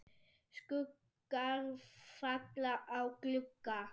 Skuggar falla á glugga.